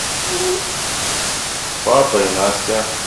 папа и настя